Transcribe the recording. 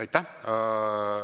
Aitäh!